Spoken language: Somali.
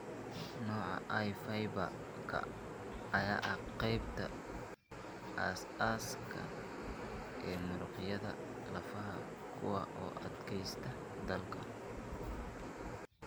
Nooca I fiber-ka ayaa ah qaybta aasaasiga ah ee muruqyada lafaha kuwaas oo u adkaysta daalka.